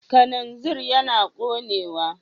Kananzir yana ƙonewa.